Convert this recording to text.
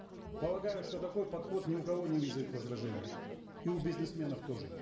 полагаю что такой подход ни у кого не вызовет возражений и у бизнесменов тоже